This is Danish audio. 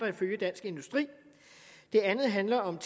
ifølge dansk industri det andet handler om